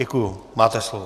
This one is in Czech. Děkuji, máte slovo.